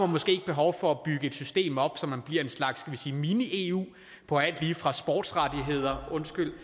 måske ikke behov for at bygge et system op så man bliver en slags mini eu på alt lige fra sportsrettigheder undskyld